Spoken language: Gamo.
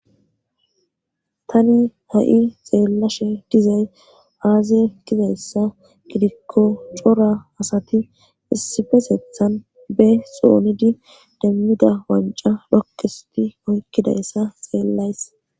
tani ha'i xeellashe dizay aaze gizayssa gidikko cora asati issifetethan be xoonidi demmida wanca rokkisti oykkidayssa xeellays